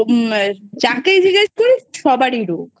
যাকেই জিজ্ঞাসা করিস সবারই রোগ